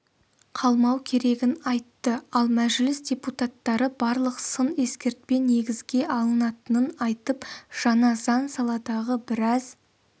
қалмау керегін айтты ал мәжіліс депутаттары барлық сын-ескертпе негізге алынатынын айтып жаңа заң саладағы біраз